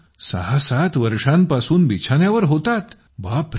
7 वर्षांपासून बिछान्यावर होतात